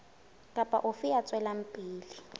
kapa ofe ya tswelang pele